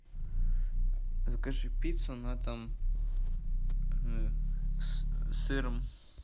закажи пиццу на дом с сыром